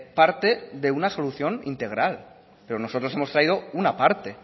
parte de una solución integral pero nosotros hemos traído una parte